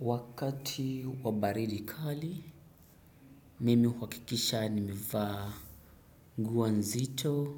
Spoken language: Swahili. Wakati wa baridi kali mimi uhakikisha nimevaa nguo nzito